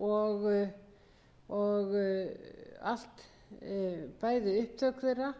og allt bæði upptök þeirra